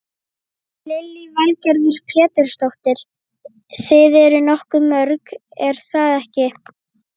Lillý Valgerður Pétursdóttir: Þið eruð nokkuð mörg er það ekki?